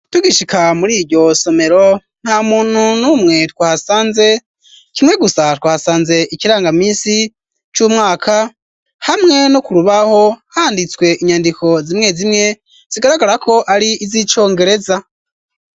uTgishika muri iryo somero nta muntu n'umwe twahasanze kimwe gusa twahasanze ikirangaminsi c'umwaka hamwe no kurubaho handitswe inyandiko zimwe zimwe zigaragara ko ari iz'icongereza.